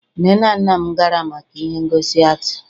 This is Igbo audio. nne na nna m gara maka ihe ngosi atii